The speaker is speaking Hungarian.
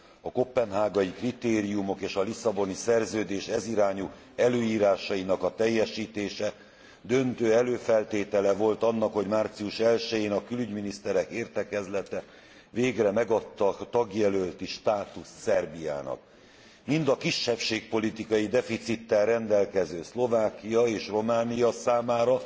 A koppenhágai kritériumok és a Lisszaboni Szerződés ez irányú előírásainak a teljesítése döntő előfeltétele volt annak, hogy március 1 jén a külügyminiszterek értekezlete végre megadta a tagjelölti státuszt Szerbiának. Mind a kisebbségpolitikai deficittel rendelkező Szlovákia és Románia számára